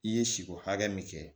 I ye siko hakɛ min kɛ